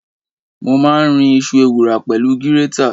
Mo máa ń rin iṣu ewùrà pẹ̀lú gírétà.